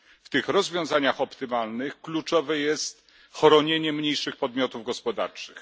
W tych rozwiązaniach optymalnych kluczowe jest chronienie mniejszych podmiotów gospodarczych.